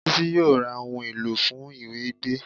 Bísí yóò ra ohun èlò fún ìwẹ̀ gbẹ